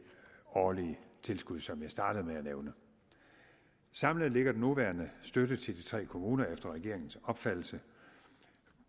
årlige tilskud som jeg startede med at nævne samlet ligger den nuværende støtte til de tre kommuner efter regeringens opfattelse